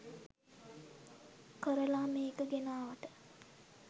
කරලා මේක ගෙනාවට